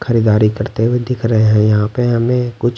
खरीदारी करते हुए दिख रहे हैं यहां पे हमें कुछ।